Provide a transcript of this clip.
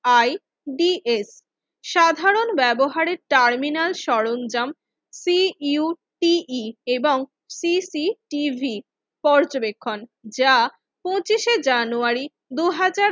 I B S সাধারন ব্যবহারের terminal সরঞ্জাম সিইউটি ই এবং সিসিটিভি পর্যবেক্ষণ যা পঁচিশে জানুয়ারি দুই হাজার